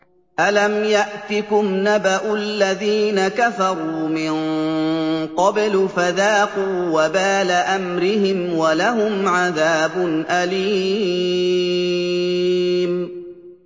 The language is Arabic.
أَلَمْ يَأْتِكُمْ نَبَأُ الَّذِينَ كَفَرُوا مِن قَبْلُ فَذَاقُوا وَبَالَ أَمْرِهِمْ وَلَهُمْ عَذَابٌ أَلِيمٌ